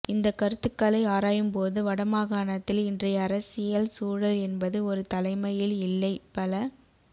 இந்த கருத்துக்களை ஆராயும்போது வடமாகாணத்தில் இன்றய அரசியல் சூழல் என்பது ஒரு தலைமையில் இல்லை பல